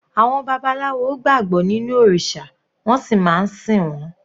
Àwọn babaláwo gbàgbọ́ nínú òrìṣà wọ́n sì máa ń sìn wọ́n.